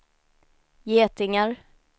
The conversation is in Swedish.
getingar